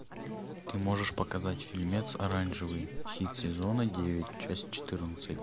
ты можешь показать фильмец оранжевый хит сезона девять часть четырнадцать